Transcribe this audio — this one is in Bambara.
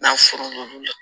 N'a furumuso la